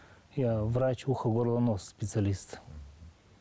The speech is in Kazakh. я врач ухо горло нос специалист